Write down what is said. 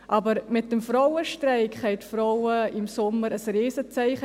Aber mit dem Frauenstreik setzten die Frauen im Sommer ein Riesenzeichen: